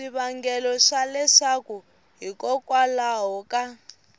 swivangelo swa leswaku hikokwalaho ka